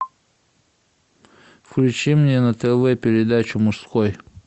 включи мне на тв передачу мужской